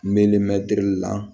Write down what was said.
la